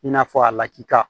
I n'a fɔ a lakika